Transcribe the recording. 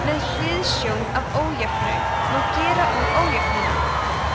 með hliðsjón af ójöfnu má gera úr ójöfnuna